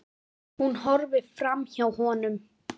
Ég vissi það.